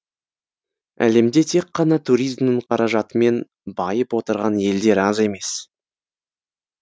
әлемде тек қана туризмнің қаражатымен байып отырған елдер аз емес